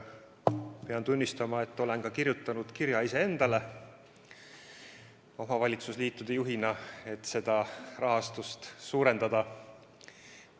Pean tunnistama, et olen kirjutanud iseendale omavalitsusliitude juhina kirja, et seda rahastust tuleks suurendada.